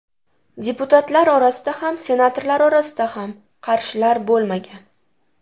Deputatlar orasida ham, senatorlar orasida ham qarshilar bo‘lmagan.